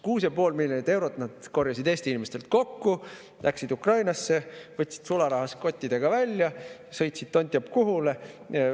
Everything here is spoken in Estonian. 6,5 miljonit eurot nad korjasid Eesti inimestelt kokku, läksid Ukrainasse, võtsid sularahas kottidega välja, sõitsid tont teab kuhu.